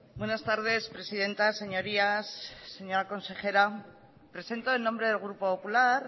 buenas tardes presidenta señorías señora consejera presento en nombre del grupo popular